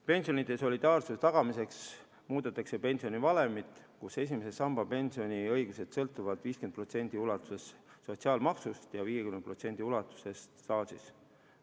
Pensionide solidaarsuse tagamiseks muudetakse pensionivalemit, kus esimese samba pensioniõigused sõltuvad 50% ulatuses sotsiaalmaksust ja 50% ulatuses staažist.